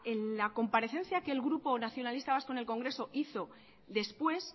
en la comparecencia que el grupo nacionalista vasco en el congreso hizo después